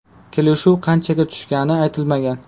Kelishuv qanchaga tushgani aytilmagan.